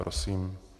Prosím.